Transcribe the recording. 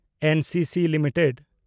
NCC limited